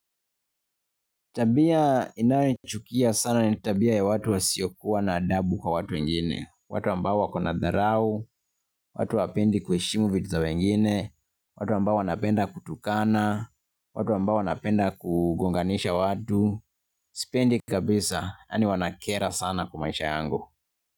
Tabia ninayoichukia sana ni tabia ya watu wasiokuwa na adabu kwa watu wengine, watu ambao wako na dharau, watu hawapendi kuheshimu vitu za wengine, watu ambao wanapenda kutukana, watu ambao wanapenda kugonganisha watu, sipendi kabisa, yani wanakera sana kwa maisha yangu.